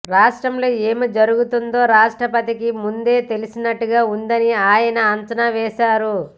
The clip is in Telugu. రాష్ట్రంలో ఏం జరుగుతుందో రాష్ట్రపతికి ముందే తెలిసినట్టుగా ఉందని ఆయన అంచనా వేశారు